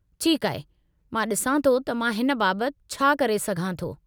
ठीकु आहे, मां ॾिसां थो त मां हिन बाबतु छा करे सघां थो।